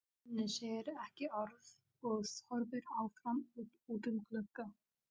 Svenni segir ekki orð og horfir áfram út um gluggann.